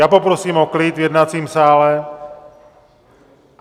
Já poprosím o klid v jednacím sále.